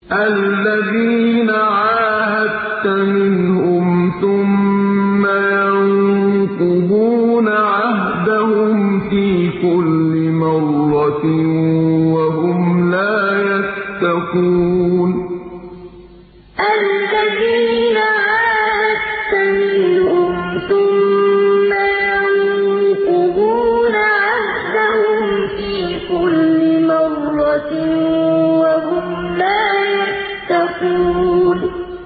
الَّذِينَ عَاهَدتَّ مِنْهُمْ ثُمَّ يَنقُضُونَ عَهْدَهُمْ فِي كُلِّ مَرَّةٍ وَهُمْ لَا يَتَّقُونَ الَّذِينَ عَاهَدتَّ مِنْهُمْ ثُمَّ يَنقُضُونَ عَهْدَهُمْ فِي كُلِّ مَرَّةٍ وَهُمْ لَا يَتَّقُونَ